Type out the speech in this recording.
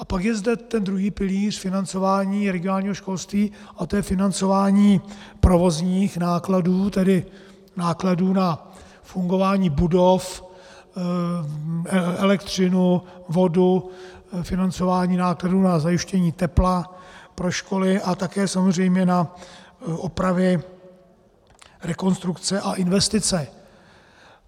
A pak je zde ten druhý pilíř financování regionálního školství a to je financování provozních nákladů, tedy nákladů na fungování budov, elektřinu, vodu, financování nákladů na zajištění tepla pro školy a také samozřejmě na opravy, rekonstrukce a investice.